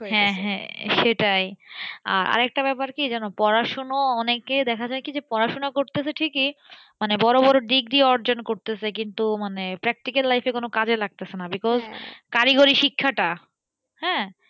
হ্যাঁ হ্যাঁ সেটাই। আর একটা ব্যাপার কি জানো পড়াশোনা অনেকে দেখা যায় কি যে পড়াশোনা করতেছে ঠিকই মানে বড়ো বড়ো degree অর্জন করতেছে কিন্তু মানে practical life এ কোন কাজে লাগতাছে না because কারিগরী শিক্ষাটা হ্যাঁ,